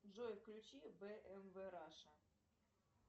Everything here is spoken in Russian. джой включи бмв раша